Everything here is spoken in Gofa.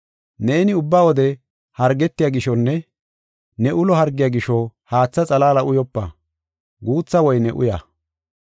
Neeni ubba wode hargetiya gishonne ne ulo hargiya gisho haatha xalaala uyopa; guutha woyne uya.